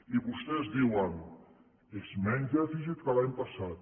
i vostès diuen és menys dèficit que l’any passat